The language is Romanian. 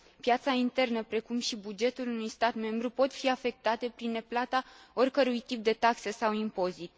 Piața internă, precum și bugetul unui stat membru, pot fi afectate prin neplata oricărui tip de taxe sau impozit.